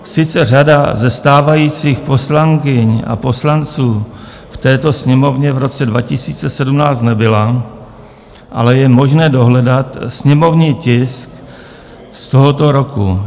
Sice řada ze stávajících poslankyň a poslanců v této Sněmovně v roce 2017 nebyla, ale je možné dohledat sněmovní tisk z tohoto roku.